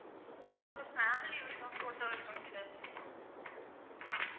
இல்ல அவங்க family ஓட photo இருக்கணும் sir